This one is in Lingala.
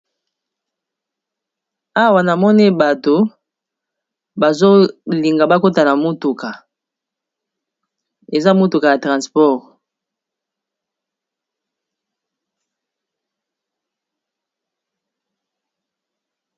Awa namone bato bazolinga bakotana motuka eza motuka ya transport